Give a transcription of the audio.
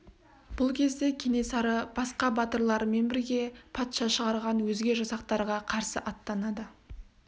бұл кезде кенесары басқа батырларымен бірге патша шығарған өзге жасақтарға қарсы аттанады